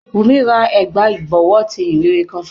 Wùmí ra ẹ̀gbà ìbọ̀wọ́ ti ìhìnrere kan fún mi